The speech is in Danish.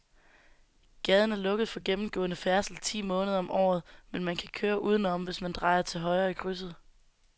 Gaden er lukket for gennemgående færdsel ti måneder om året, men man kan køre udenom, hvis man drejer til højre i krydset.